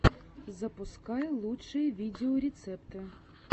запускай лучшие видеорецепты